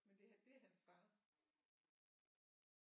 Men det det er hans far